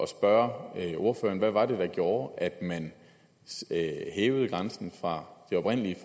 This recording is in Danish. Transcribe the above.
spørge ordføreren hvad var det der gjorde at man hævede grænsen fra de oprindelig